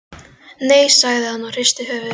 Nei, sagði hann og hristi höfuðið framan í börnin.